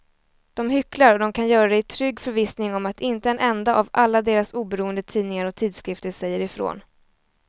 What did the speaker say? De hycklar och de kan göra det i trygg förvissning om att inte en enda av alla deras oberoende tidningar och tidskrifter säger ifrån.